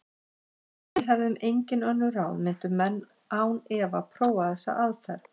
Ef við hefðum engin önnur ráð myndu menn án efa prófa þessa aðferð.